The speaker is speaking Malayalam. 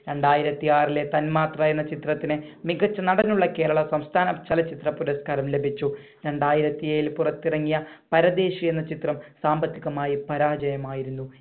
രണ്ടായിരത്തി ആറി ലെ തന്മാത്ര എന്ന ചിത്രത്തിന് മികച്ച നടനുള്ള കേരള സംസ്ഥാന ചലച്ചിത്ര പുരസ്കാരം ലഭിച്ചു. രണ്ടായിരത്തി ഏഴിൽ പുറത്തിറങ്ങിയ പരദേശി എന്ന ചിത്രം സാമ്പത്തികമായി പരാജയം ആയിരുന്നു.